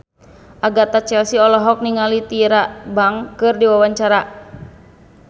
Agatha Chelsea olohok ningali Tyra Banks keur diwawancara